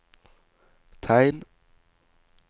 tegn